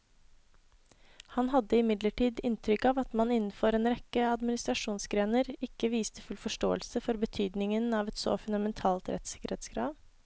Han hadde imidlertid inntrykk av at man innenfor en rekke administrasjonsgrener ikke viste full forståelse for betydningen av et så fundamentalt rettssikkerhetskrav.